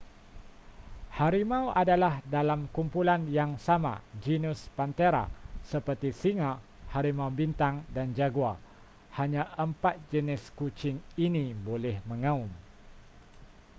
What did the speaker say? harimau adalah dalam kumpulan yang sama genus panthera seperti singa harimau bintang dan jaguar. hanya empat jenis kucing ini boleh mengaum